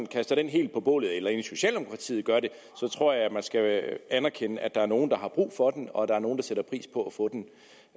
kaster den helt på bålet eller inden socialdemokratiet gør det tror jeg man skal anerkende at der er nogle der har brug for den og at der er nogle der sætter pris på at få den